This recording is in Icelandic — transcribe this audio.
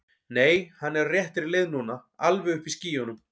Nei, hann er á réttri leið núna. alveg uppi í skýjunum.